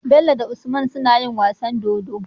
Bello da usman suna yin wasan dodo